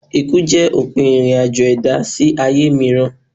Ikú jẹ́ òpin ìrìn-àjò ẹ̀dá sí ayé mìíràn.